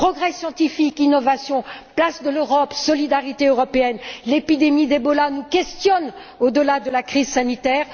Progrès scientifique, innovation, place de l'Europe, solidarité européenne, l'épidémie d'Ebola nous questionne au delà de la crise sanitaire.